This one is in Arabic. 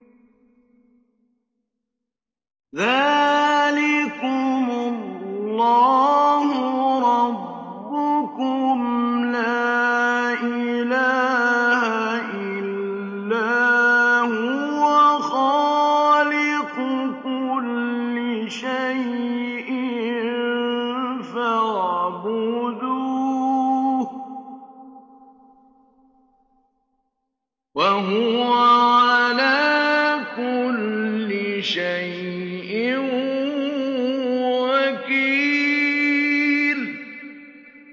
ذَٰلِكُمُ اللَّهُ رَبُّكُمْ ۖ لَا إِلَٰهَ إِلَّا هُوَ ۖ خَالِقُ كُلِّ شَيْءٍ فَاعْبُدُوهُ ۚ وَهُوَ عَلَىٰ كُلِّ شَيْءٍ وَكِيلٌ